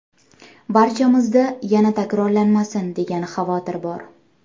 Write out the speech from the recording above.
Barchamizda ‘yana takrorlanmasin’ degan xavotir bor.